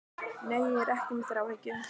Nei, ég er ekki með þráhyggju.